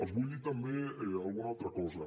els vull dir també alguna altra cosa